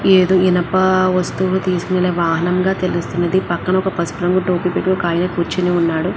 ఏదో ఇనప వస్తువులు తీసుకువెళ్ళే వాహనం గా తెలుస్తుంది. పక్కన ఒక పసుపు రంగు టోపీ పెట్టుకుని ఒక ఆయన కూర్చుని ఉన్నారు.